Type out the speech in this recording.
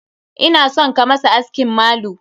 Ina son ka masa askin malu.